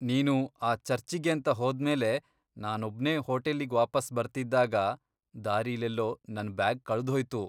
ನೀನು ಆ ಚರ್ಚಿಗೇಂತ ಹೋದ್ಮೇಲೆ ನಾನೊಬ್ನೇ ಹೋಟೆಲ್ಲಿಗ್ ವಾಪಸ್ ಬರ್ತಿದ್ದಾಗ ದಾರಿಲೆಲ್ಲೋ ನನ್ ಬ್ಯಾಗ್ ಕಳ್ದ್ಹೋಯ್ತು.